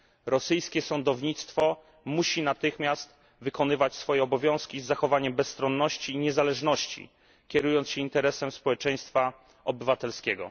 Rosyjskie sądownictwo musi natychmiast wykonywać swoje obowiązki z zachowaniem bezstronności i niezależności, kierując się interesem społeczeństwa obywatelskiego.